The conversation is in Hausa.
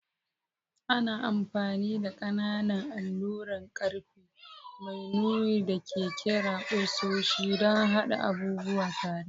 Ana amfani da ƙananan alluran ƙarfe mai nuni da ake kira ƙusoshi don haɗa abubuwa tare.